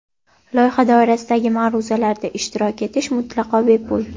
Loyiha doirasidagi ma’ruzalarda ishtirok etish mutlaqo bepul.